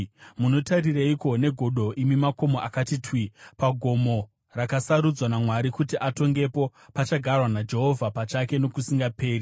Munotaririreiko negodo, imi makomo akati twi, pagomo rakasarudzwa naMwari kuti atongepo, pachagarwa naJehovha pachake nokusingaperi?